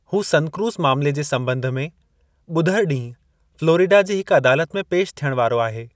हू सनक्रूज़ मामले जे सॿंध में ॿुधरु ॾींहुं फ्लोरिडा जी हिक अदालत में पेशि थिअणु वारो आहे।